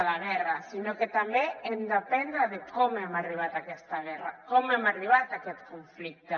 de la guerra sinó que també hem d’aprendre com hem arribat a aquesta guerra com hem arribat a aquest conflic·te